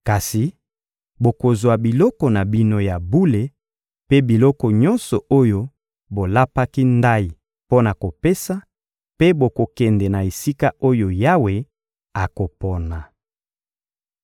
Kasi bokozwa biloko na bino ya bule mpe biloko nyonso oyo bolapaki ndayi mpo na kopesa, mpe bokokende na esika oyo Yawe akopona.